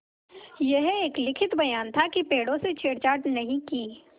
यह एक लिखित बयान था कि पेड़ों से छेड़छाड़ नहीं की